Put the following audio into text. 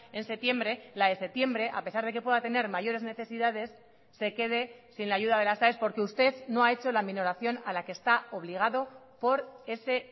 en septiembre la de septiembre a pesar de que pueda tener mayores necesidades se quede sin la ayuda de las aes porque usted no ha hecho la minoración a la que está obligado por ese